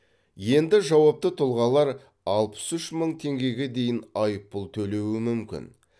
енді жауапты тұлғалар алпыс үш мың теңгеге дейін айыппұл төлеуі мүмкін